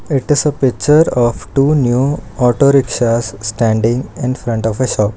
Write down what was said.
it is a picture of two new auto rickshaws standing infront of a shop.